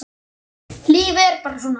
Lífið er bara svona.